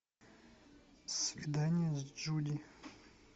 свидание с джуди